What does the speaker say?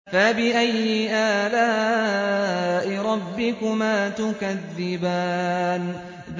فَبِأَيِّ آلَاءِ رَبِّكُمَا تُكَذِّبَانِ